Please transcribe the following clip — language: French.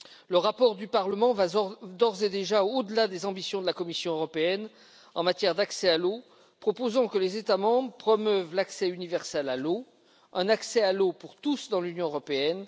Le rapport du Parlement va d'ores et déjà au delà des ambitions de la Commission européenne en matière d'accès à l'eau en proposant que les États membres promeuvent l'accès universel à l'eau, c'est à dire l'accès à l'eau pour tous dans l'Union européenne.